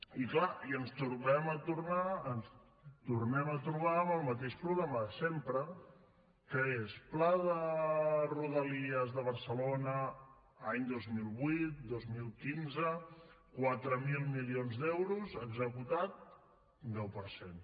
i clar ens tornem a trobar amb el mateix problema de sempre que és pla de rodalies de barcelona any dos mil vuit dos mil quinze quatre mil milions d’euros executat un deu per cent